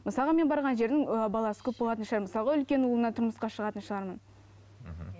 мысалға мен барған жердің ыыы баласы көп болатын шығар мысалға үлкен ұлына тұрмысқа шығатын шығармын мхм